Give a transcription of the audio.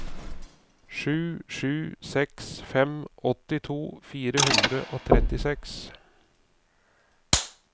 sju sju seks fem åttito fire hundre og trettiseks